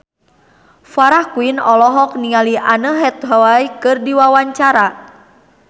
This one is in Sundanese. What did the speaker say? Farah Quinn olohok ningali Anne Hathaway keur diwawancara